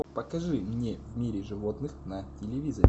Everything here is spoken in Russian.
покажи мне в мире животных на телевизоре